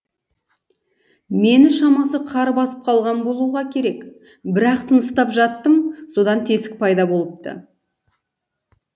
мені шамасы қар басып қалған болуға керек бірақ тыныстап жаттым содан тесік пайда болыпты